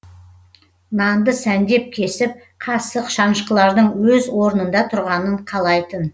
нанды сәндеп кесіп қасық шанышқылардың өз орнында тұрғанын қалайтын